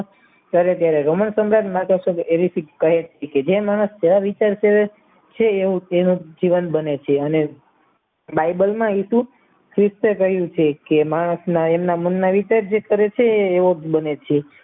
છે એવું તેનું જીવન બને છે અને બાઈબલમાં હતું કહ્યું છે કે માણસના એમના મનના વિચાર જે કરે છે એવો જ બને છે